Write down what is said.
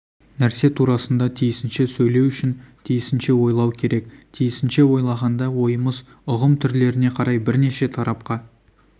нәрсе турасында тиісінше сөйлеу үшін тиісінше ойлау керек тиісінше ойлағанда ойымыз ұғым түрлеріне қарай бірнеше тарапқа